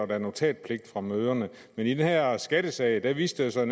der er notatpligt på møderne men i den her skattesag viste det sig